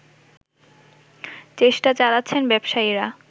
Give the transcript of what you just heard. চেষ্টা চালাচ্ছেন ব্যবসায়ীরা